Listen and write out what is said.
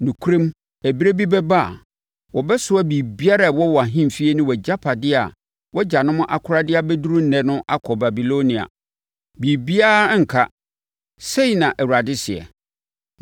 Nokorɛm, ɛberɛ bi bɛba a, wɔbɛsoa biribiara a ɛwɔ wʼahemfie ne agyapadeɛ a wʼagyanom akora de abɛduru ɛnnɛ no akɔ Babilonia. Biribiara renka, sei na Awurade seɛ.